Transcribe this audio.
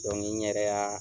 n yɛrɛ y'a